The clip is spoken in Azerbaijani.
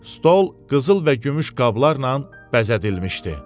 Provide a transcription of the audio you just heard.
Stol qızıl və gümüş qablarla bəzədilmişdi.